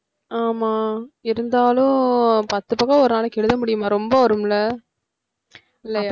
ஆமாம் இருந்தாலும் பத்து பக்கம் ஒரு நாளைக்கு எழுத முடியுமா ரொம்ப வரும் இல்ல இல்லயா?